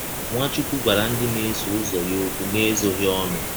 Nwachụkwụ gwara ndị na - esọ ụzọ ya ọkwụ n’ezọghị ọnụ.